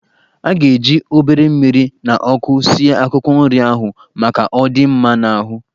A ga-eji obere mmiri na ọkụ sie akwụkwọ nrị ahụ, maka ọ dị mma n'ahụ.